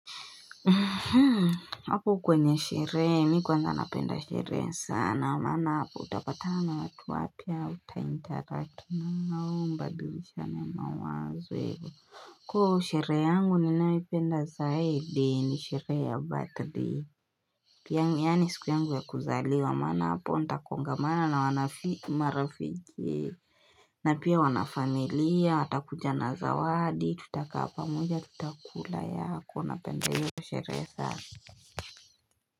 Hapo kwenye sherehe, mimi kwanza napenda sherehe sana, maana hapo utapatanaa na watu wapya utaintaratu na mnabadilisha na mawazo. Kwa hiyo sherehe yangu ninayoipenda zaidi ni sherehe ya batidei. Yaani ni siku yangu ya kuzaliwa, maama hapo nitakongamana na marafiki. Na pia wanafamilia, atakuja na zawadi, tutakaa pamoja, tutakula yako, napenda hiyo sherehe.